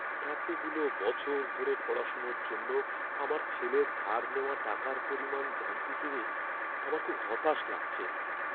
এতগুলো বছর ধরে পড়াশোনার জন্য আমার ছেলের ধার নেওয়া টাকার পরিমাণ জানতে পারে আমার খুব হতাশ লাগছে।